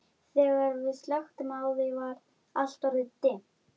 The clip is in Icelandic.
Gafst upp á honum.